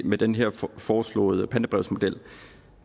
med den her foreslåede pantebrevsmodel